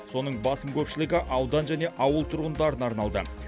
соның басым көпшілігі аудан және ауыл тұрғындарына арналды